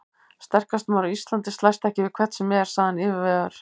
Sterkasti maður á Íslandi slæst ekki við hvern sem er, sagði hann yfirvegaður.